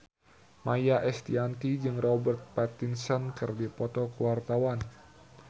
Maia Estianty jeung Robert Pattinson keur dipoto ku wartawan